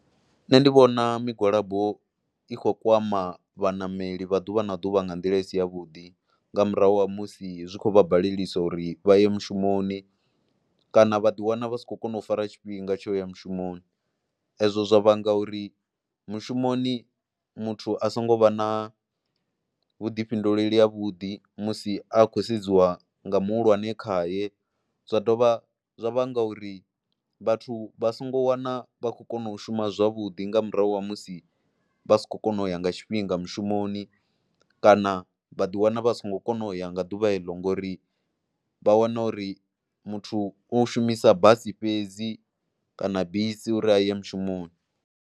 Nṋe ndi vhona migwalabo i khou kwama vhaṋameli vha ḓuvha na ḓuvha nga nḓila i si yavhuḓi nga murahu ha musi zwi khou vha baleliwa uri vha ye mushumoni kana vha ḓiwana vha si khou kona u fara tshifhinga tsho ya mushumoni. Ezwo zwa vhanga uri mushumoni muthu a songo vha na vhuḓifhinduleli havhuḓi musi a khou sedziwa nga muhulwane khaye, zwa dovha zwa vhanga uri vhathu vha songo wana vha khou kona u shuma zwavhuḓi nga murahu ha musi vha si khou kona u ya nga tshifhinga mushumoni kana vha ḓiwana vha songo kona u ya nga ḓuvha eḽo ngori vha wana uri muthu u shumisa basi fhedzi kana bisi uri ha aye mushumoni.